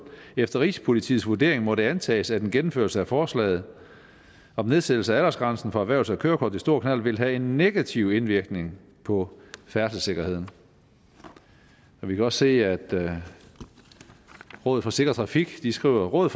efter rigspolitiets vurdering må det antages at en gennemførelse af forslaget om nedsættelse af aldersgrænsen for erhvervs og kørekort til stor knallert vil have en negativ indvirkning på færdselssikkerheden vi kan også se at rådet for sikker trafik skriver rådet